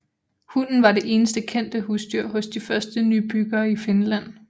Hunden var det eneste kendte husdyr hos de første nybyggere i Finland